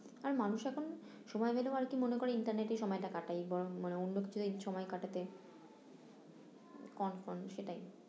আর মানুষ এখন সময় পেলেও আর কি মনে করে ইন্টারনেটেই এই সময়টা কাটাই বরং মানে অন্য কিছু নিয়ে সময় কাটাতে কন কনে সেটাই